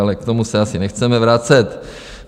Ale k tomu se asi nechceme vracet.